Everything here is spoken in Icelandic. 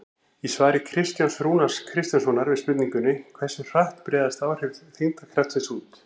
Í svari Kristjáns Rúnars Kristjánssonar við spurningunni Hversu hratt breiðast áhrif þyngdarkraftsins út?